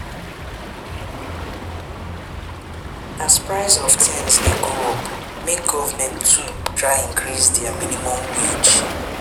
As price of things de go up make government too try increase their minimum wage